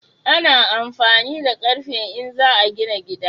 Ana amfani da ƙarfe in za a gina gida